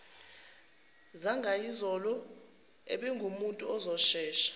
zangayizolo ubengumuntu ozoshesha